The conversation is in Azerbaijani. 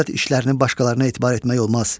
Dövlət işlərini başqalarına etibar etmək olmaz.